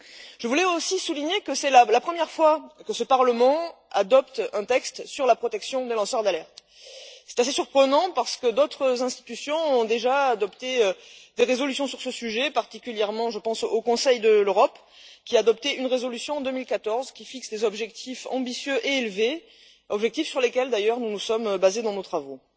Je voulais aussi souligner que c'est la première fois que ce Parlement adopte un texte sur la protection des lanceurs d'alerte. C'est assez surprenant, parce que d'autres institutions ont déjà adopté des résolutions sur ce sujet je pense, en particulier, au Conseil de l'Europe, qui a adopté une résolution en 2014, qui fixe des objectifs ambitieux et élevés, objectifs sur lesquels d'ailleurs nous nous sommes basés dans nos travaux.